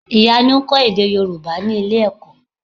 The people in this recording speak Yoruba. Ìyanu ń kọ́ èdè Yorùbá ní ilé-ẹ̀kọ́.